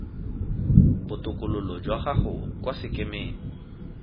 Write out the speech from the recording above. botokololo jwa gago kwa sekemeng